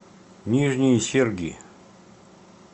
нижние серги